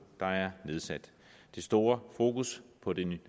der er nedsat det store fokus på det